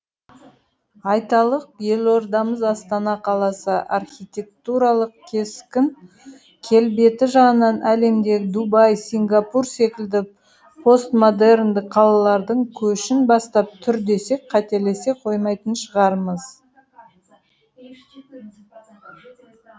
айталық елордамыз астана қаласы архитектуралық кескін келбеті жағынан әлемдегі дубай сингапур секілді постмодерндік қалалардың көшін бастап тұр десек қателесе қоймайтын шығармыз